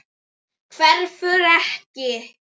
Hverfur ekki.